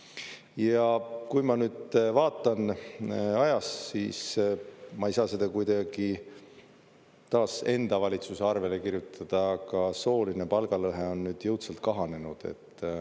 Ja kui ma nüüd vaatan ajas, siis ma ei saa seda kuidagi taas enda valitsuse arvele kirjutada, aga sooline palgalõhe on jõudsalt kahanenud.